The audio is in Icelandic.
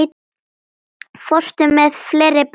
Fórstu með fleiri bréf?